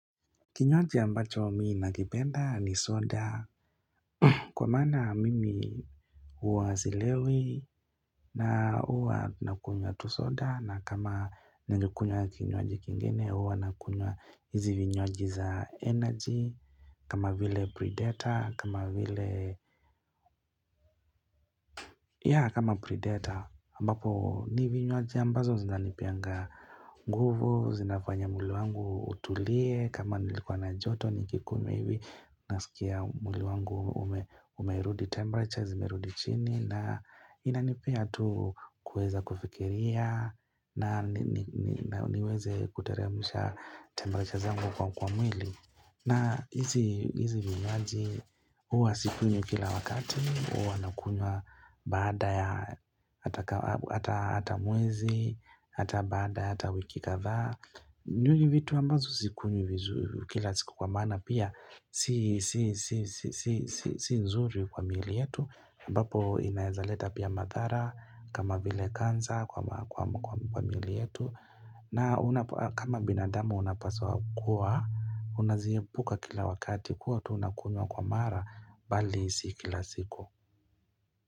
Kinywaji ambacho mimi nakipenda ni soda Kwa maana mimi huwa silewi na huwa nakunywa tu soda na kama naeza kunywa kinywaji kingine huwa nakunywa hizi vinywaji za energy kama vile predator kama vile ya kama predator ambapo ni vinywaji ambazo zinanipeanga nguvu zinafanya mwili wangu utulie kama nilikuwa na joto nikikunywa hivi Nasikia mwili wangu umerudi temperature Zimerudi chini na inanipea tu kueza kufikiria na niweze kuteremsha temperature zangu kwa mwili na hizi vinywaji huwa sikunywi kila wakati huwa nakunywa baada ya hata mwezi hata baada ya hata wiki kadhaa ni vitu ambazo sikunywi kila siku kwa maana pia si nzuri kwa miili yetu ambapo inaezaleta pia madhara kama vile kansa kwa miili yetu na kama binadamu unapaswa kuwa Unaziepuka kila wakati kuwa tu unakunywa kwa mara bali si kila siku.